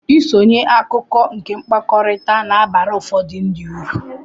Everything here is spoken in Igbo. Ịbụ akụkụ nke mkpakọrịta na-abara ụfọdụ ndị ụrụ